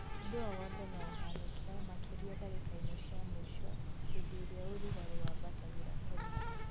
ũndũ o wothe nũũhanĩke, makĩria ndagĩka-inĩ cia mũico hĩndĩ ĩrĩa ũrugarĩ wambatagĩra kũna